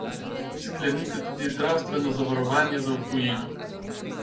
Sklenite tudi zdravstveno zavarovanje za tujino.